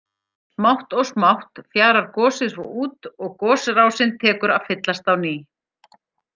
Smátt og smátt fjarar gosið svo út og gosrásin tekur að fyllast á ný.